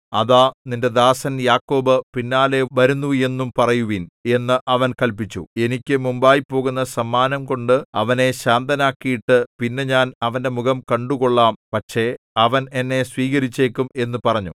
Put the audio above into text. അതാ നിന്റെ ദാസൻ യാക്കോബ് പിന്നാലെ വരുന്നു എന്നും പറയുവിൻ എന്ന് അവൻ കല്പിച്ചു എനിക്ക് മുമ്പായിപോകുന്ന സമ്മാനംകൊണ്ട് അവനെ ശാന്തനാക്കിയിട്ടു പിന്നെ ഞാൻ അവന്റെ മുഖം കണ്ടുകൊള്ളാം പക്ഷേ അവൻ എന്നെ സ്വീകരിച്ചേക്കും എന്നു പറഞ്ഞു